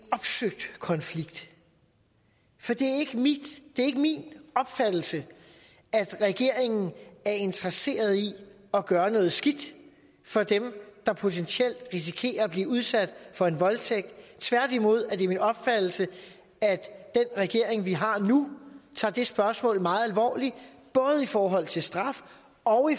konflikt for det er ikke min opfattelse at regeringen er interesseret at gøre noget skidt for dem der potentielt risikerer at blive udsat for en voldtægt tværtimod er det min opfattelse at den regering vi har nu tager det spørgsmål meget alvorligt i forhold til både straf og